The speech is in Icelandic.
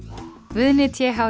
Guðni t h